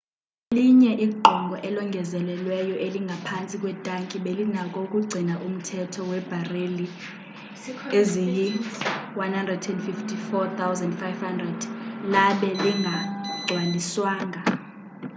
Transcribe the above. elinye igqongo elongezelelweyo elingaphantsi kwetanki belinako ukugcina umthamo webareli eziyi 104,500 labe lingagcwaliswanga